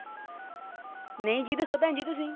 ਨਹੀਂ ਜੀ ਦੱਸੋ ਭੈਣ ਜੀ ਤੁਸੀਂ।